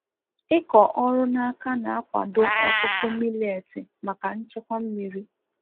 ịkọ ọrụ na aka na akwado ọkụkụ mileeti maka nchekwa mmiri